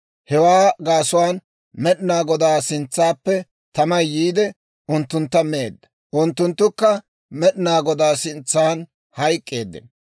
Hewaa gaasuwaan Med'inaa Godaa sintsappe tamay yiide, unttuntta meedda; unttunttukka Med'inaa Godaa sintsan hayk'k'eeddino.